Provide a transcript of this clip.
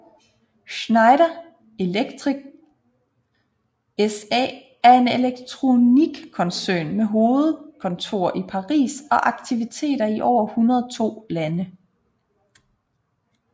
Schneider Electric SA er en elektroteknikkoncern med hovedkontor i Paris og aktiviteter i over 102 lande